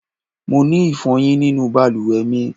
Mo ni ifoyin ninu baluwe mi